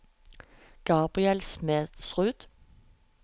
Gabriel Smedsrud